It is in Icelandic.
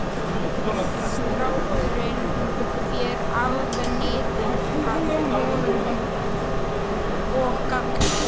Strákurinn fer alveg niður að honum og kallar